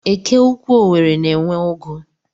Eke Ukwuu Owerri na-enwe ugu.